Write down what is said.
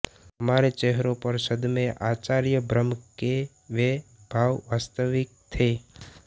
हमारे चेहरों पर सदमेआश्चर्यभ्रम के वे भाव वास्तविक थे